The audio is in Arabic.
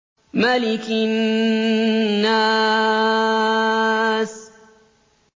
مَلِكِ النَّاسِ